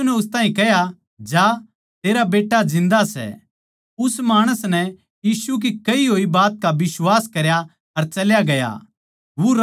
यीशु नै उस ताहीं कह्या जा तेरा बेट्टा जिन्दा सै उस माणस नै यीशु की कही होई बात का बिश्वास करया अर चल्या गया